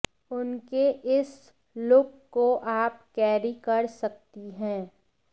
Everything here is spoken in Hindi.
उनके इस लुक को आप कैरी कर सकती हैं